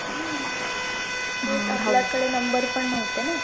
आपल्याकडे number पण नव्हते ना